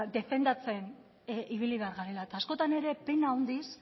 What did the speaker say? defendatzen ibili behar garela eta askotan ere pena handiz